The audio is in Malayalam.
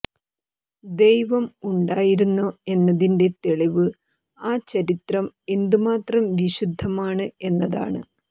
ദൈവം ഉണ്ടായിരുന്നോ എന്നതിന്റെ തെളിവ് ആ ചരിത്രം എന്തുമാത്രം വിശുദ്ധമാണ് എന്നതാണ്